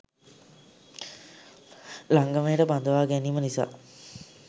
ලංගමයට බඳවා ගැනීම නිසා